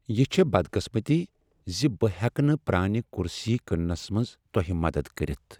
یہ چھےٚ بدقسمتی ز بہٕ ہیٚکہ نہٕ پرٛانہ کرسی کٕننس منٛز تۄہہ مدد کٔرتھ۔